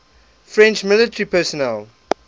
french military personnel